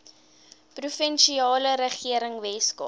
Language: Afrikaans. provinsiale regering weskaap